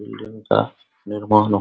building का निर्माण हो --